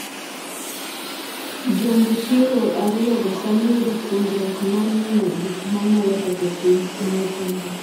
Jo-Nguchiro ariyogo sani yudo puonjruok mar ng’iyo gik ma nyalo ketho piny ma opondo.